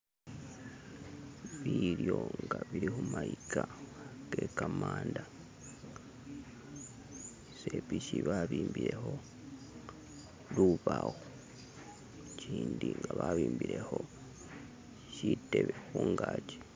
Bilyo nga bili khumaika kekamanda. Isepiki babimbilekho lubawo, ikindi nga babimbilekho shitelo khungaki.